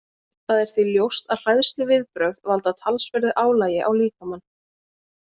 Það er því ljóst að hræðsluviðbrögð valda talsverðu álagi á líkamann.